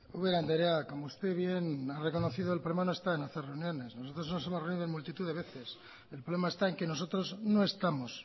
ubera andrea como usted bien ha reconocido el problema no está en hacer reuniones nosotros nos hemos reunido en multitud de veces el problema está en que nosotros no estamos